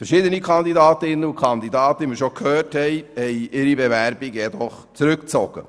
Verschiedene Kandidatinnen und Kandidaten haben ihre Bewerbungen zurückgezogen.